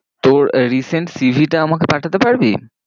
তোর recent cv টা আমাকে পাঠাতে পারবি?